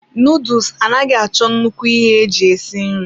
Nuduls anaghị achọ nnukwu ihe eji esi nri.